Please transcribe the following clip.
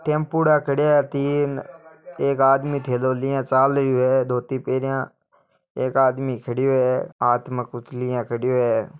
टेम्पुड़ा खड्या है तीन एक आदमी थेलो लिया चाल रहियो है धोती पहरया एक आदमी खड़यो है हाथ में कुछ लिया खड़यो है।